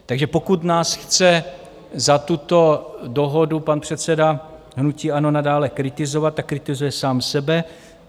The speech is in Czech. Takže pokud nás chce za tuto dohodu pan předseda hnutí ANO nadále kritizovat, tak kritizuje sám sebe.